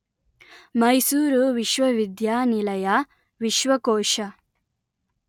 ಮೈಸೂರು ವಿಶ್ವವಿದ್ಯಾನಿಲಯ ವಿಶ್ವಕೋಶ